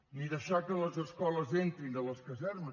ni deixar que les escoles entrin a les casernes